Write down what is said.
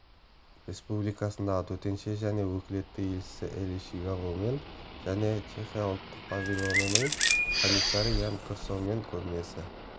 республикасындағы төтенше және өкілетті елшісі элиш жигавомен және чехия ұлттық павильонының комиссары ян крсомен көрмесі